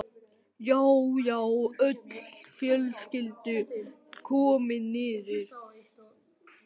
Já, já, öll fjölskyldan komin niður!